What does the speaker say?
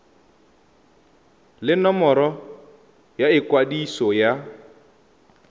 le nomoro ya ikwadiso ya